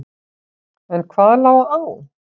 En hvað lá á?